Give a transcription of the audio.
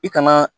I kana